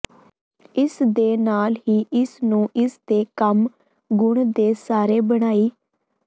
ਇਸ ਦੇ ਨਾਲ ਹੀ ਇਸ ਨੂੰ ਇਸ ਦੇ ਕੰਮ ਗੁਣ ਦੇ ਸਾਰੇ ਬਣਾਈ